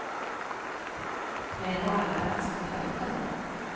Vi är nog alla ganska trötta nu.